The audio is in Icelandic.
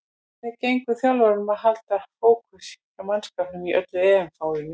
Hvernig gengur þjálfaranum að halda fókus hjá mannskapnum í öllu EM-fárinu?